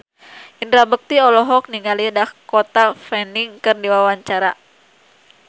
Indra Bekti olohok ningali Dakota Fanning keur diwawancara